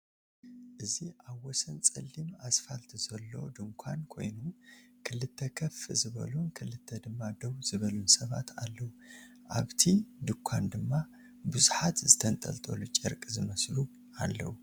እዚ አብ ወሰን ፀሊም አስፋልት ዘሎ ድንኳን ኮይኑ ክልተ ከፍ ዝበሉን ክልተ ድማ ደው ዝበሉን ሰባት አለዉ፡፡ አብ እቲ ድንኳን ድማ ብዙሓት ዝተንጠላጠሉ ጨርቂ ዝመስሉ አለዉ፡፡